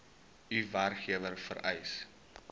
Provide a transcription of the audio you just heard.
u werkgewer vereis